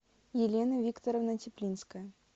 елена викторовна теплинская